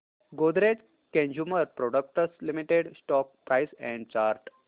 Godrej Consumer Products Limited stock price and chart